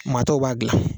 Maa tɔw b'a dilan